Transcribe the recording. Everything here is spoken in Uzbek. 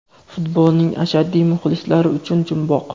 Futbolning ashaddiy muxlislari uchun jumboq!.